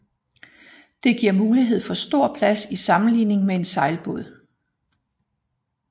Det giver mulighed for stor plads i sammenligning med en sejlbåd